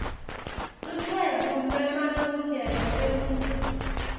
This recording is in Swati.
lucwebu lwemalungelo eluntfu